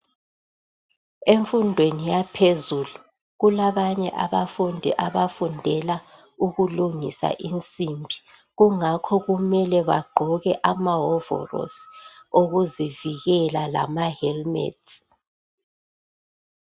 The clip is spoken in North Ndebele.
Emfundweni yaphezulu kulabanye abafundi abafundela ukulungisa insimbi, kungakho kumele bagqoke amahovolosi, okuzivikela lama "helmet".